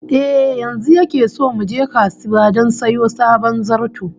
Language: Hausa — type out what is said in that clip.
Eh, yanzu yake so mu je kasuwa don sayo sabon zarto